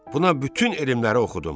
Buna bütün elmləri oxudum.